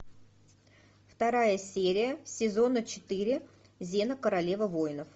вторая серия сезона четыре зена королева воинов